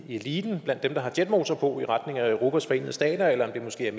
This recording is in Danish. i eliten og blandt dem der har jetmotor på i retning af europas forenede stater eller at det måske er